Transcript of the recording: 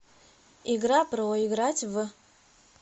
игра про играть в